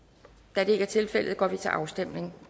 da det ikke er tilfældet går vi til afstemning